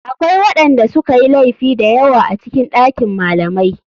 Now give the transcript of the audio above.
Akwai waɗanda sukayi laifi dayawa a cikin ɗakin malamai.